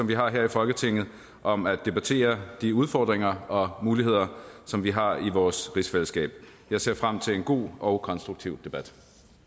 vi har her i folketinget om at debattere de udfordringer og muligheder som vi har i vores rigsfællesskab jeg ser frem til en god og konstruktiv debat